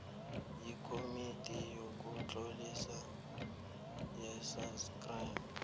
yikomiti yokutlolisa yesacnasp